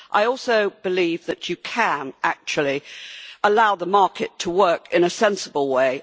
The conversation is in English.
I also believe that you can actually allow the market to work in a sensible way.